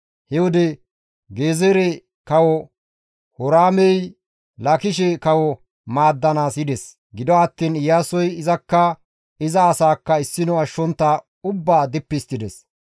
He wode Gezeere kawo Horaamey Laakishe kawo maaddanaas yides; gido attiin Iyaasoy izakka iza asaakka issino ashshontta ubbaa dippi histtides.